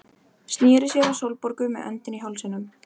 Sneri sér að Sólborgu með öndina í hálsinum.